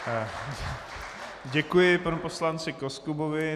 Děkuji panu poslanci Koskubovi.